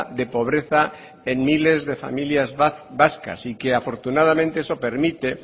de pobreza en miles de familias vasca y que afortunadamente eso permite